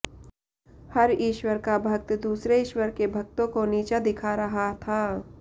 हर ईश्वर का भक्त दूसरे ईश्वर के भक्तों को नीचा दिखा रहा था